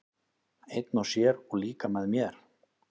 Einn og sér, og líka með mér.